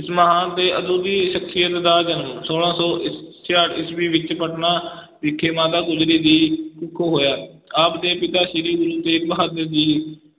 ਇਸ ਮਹਾਨ ਤੇ ਅਦੁੱਤੀ ਸਖ਼ਸੀਅਤ ਦਾ ਜਨਮ ਛੋਲਾਂ ਸੌ ਸ ਛਿਆਹਠ ਈਸਵੀ ਵਿੱਚ ਪਟਨਾ ਵਿਖੇ ਮਾਤਾ ਗੁਜਰੀ ਦੀ ਕੁਖੋਂ ਹੋਇਆ, ਆਪ ਦੇ ਪਿਤਾ ਸ੍ਰੀ ਗੁਰੂ ਤੇਗ ਬਹਾਦਰ ਜੀ